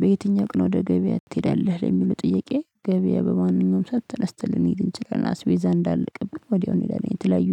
በየትኛው ቀን ወደ ገበያ ትሄዳለህ? ለሚለው ጥያቄ ገበያ በማንኛውም ሰዓት ተነስተን ልንሄድ ይችላል አስቤዛ እንዳለቀብን ወዲያው እኔሄዳለን የተለያዩ